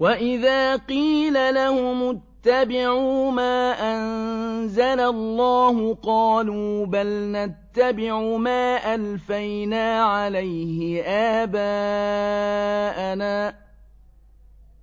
وَإِذَا قِيلَ لَهُمُ اتَّبِعُوا مَا أَنزَلَ اللَّهُ قَالُوا بَلْ نَتَّبِعُ مَا أَلْفَيْنَا عَلَيْهِ آبَاءَنَا ۗ